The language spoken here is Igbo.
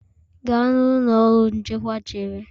Gaa na ụlọ ọrụ nchekwa chere